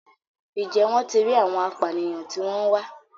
Ǹjẹ́ wọ́n ti rí àwọn apànìyàn tí wọ́n ń wá?